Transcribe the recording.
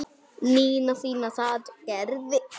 Nína fína sat hjá Gerði.